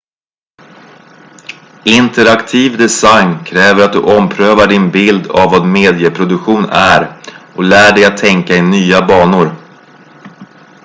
interaktiv design kräver att du omprövar din bild av vad medieproduktion är och lär dig att tänka i nya banor